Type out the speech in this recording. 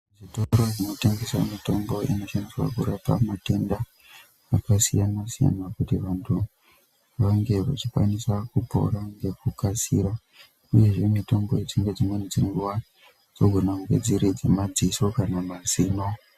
Zvitoro zvinotengesa mitombo inoshandiswa kurapa matenda akasiyana siyana kuti vantu vange vachikwanisa kupora ngekukasira uye zve mitombo yechingezi dzogona kudetsera yemadziso kana mazino.